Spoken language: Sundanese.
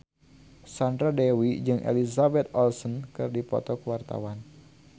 Sandra Dewi jeung Elizabeth Olsen keur dipoto ku wartawan